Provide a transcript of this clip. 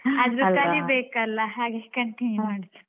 ಆದ್ರೂ ಕಲೀಬೇಕಲ್ಲ ಹಾಗೆ continue ಮಾಡುದು.